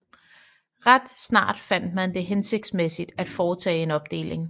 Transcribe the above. Ret snart fandt man det hensigtsmæssigt at foretage en opdeling